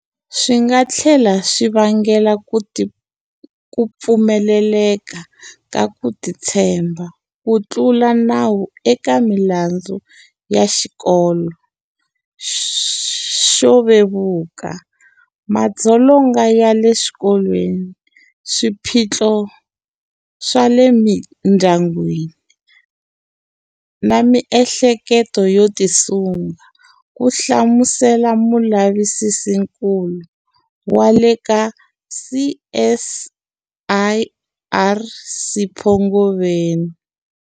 Swi nga tlhela swi vangela ku pfumaleka ka ku titshemba, ku tlula nawu eka milandzu ya xikalo xo vevuka, madzolonga ya le swikolweni, swiphiqo swa le mindyangwini na miehleketo yo tisunga, ku hlamusela mulavisisinkulu wa le ka CSIR Sipho Ngobeni.